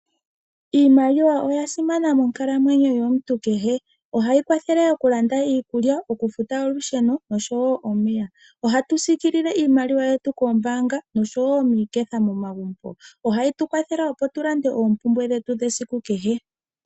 Iimaliwa oya simana monkalamwenyo yomuntu kehe. Ohayi kwathele okulanda iikulya, okufuta olusheno nosho wo omeya. Ohatu sikilile iimaliwa yetu koombaanga nosho wo miiketha momagumbo. Ohayi tu kwathele opo tu lande oompumbwe dhetu dhesiku kehe.